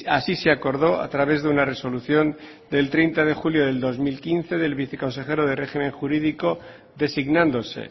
así se acordó a través de una resolución del treinta de junio del dos mil quince del viceconsejero de régimen jurídico designándose